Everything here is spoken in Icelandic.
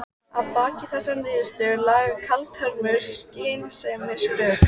Að baki þessari niðurstöðu lágu kaldhömruð skynsemisrök.